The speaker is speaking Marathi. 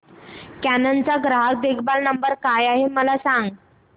कॅनन चा ग्राहक देखभाल नंबर काय आहे मला सांग